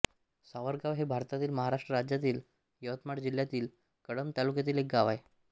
सावरगाव हे भारतातील महाराष्ट्र राज्यातील यवतमाळ जिल्ह्यातील कळंब तालुक्यातील एक गाव आहे